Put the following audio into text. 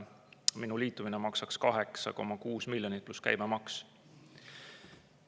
Minu liitumine maksaks 8,6 miljonit, pluss käibemaks.